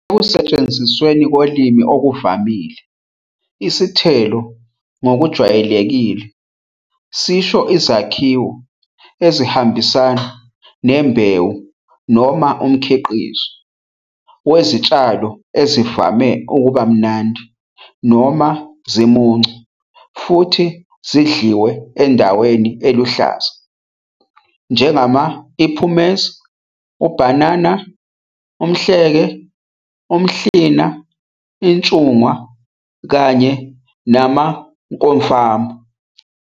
Ekusetshenzisweni kolimi okuvamile, "isithelo" ngokujwayelekile sisho izakhiwo ezihambisana nembewu, noma umkhiqizo, wezitshalo ezivame ukuba mnandi noma zimuncu futhi zidliwe endaweni eluhlaza, njengama- iphumezi, ubhanana, umhleke, umhlina, intshungwa, kanye namaumkomfana.